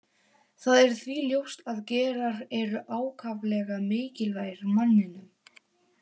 Það er því ljóst að gerar eru ákaflega mikilvægir manninum.